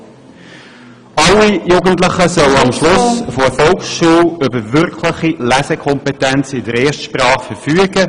Alle Jugendlichen sollen am Schluss der Volksschule über wirkliche Lesekompetenz in der Erstsprache verfügen.